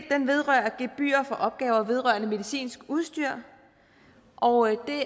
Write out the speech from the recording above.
vedrører gebyr for opgaver vedrørende medicinsk udstyr og det